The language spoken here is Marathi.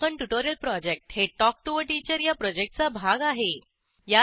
स्पोकन ट्युटोरियल प्रॉजेक्ट हे टॉक टू टीचर या प्रॉजेक्टचा भाग आहे